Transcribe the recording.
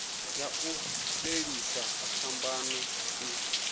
ya u fhelisa phambano i